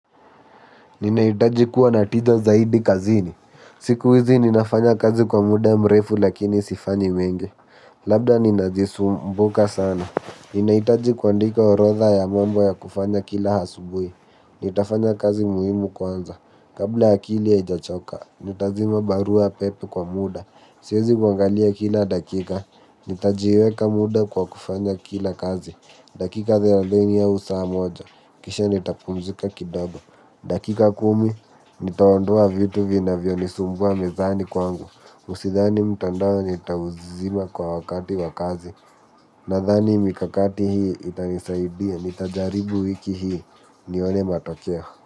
Ninahitaji kuwa natija zaidi kazini. Siku hizi ninafanya kazi kwa muda mrefu lakini sifanyi mengi. Labda ninazisumbuka sana. Ninahitaji kuandika orodha ya mambo ya kufanya kila asubuhi. Nitafanya kazi muhimu kwanza. Kabla akili haijachoka. Nitazima barua pepe kwa muda. Siwezi kuangalia kila dakika. Nitajiweka muda kwa kufanya kila kazi. Dakika thelathini au saa moja, kisha nitapumzika kidogo. Dakika kumi, nitaondoa vitu vina vyonisumbua mezani kwangu. Usidhani mtandao nitauzima kwa wakati wakazi. Nadhani mikakati hii itanisaidia, nitajaribu wiki hii, nione matokeo.